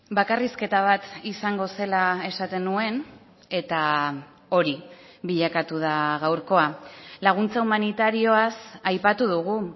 bakarrizketa bat izango zela esaten nuen eta hori bilakatu da gaurkoa laguntza humanitarioaz aipatu dugu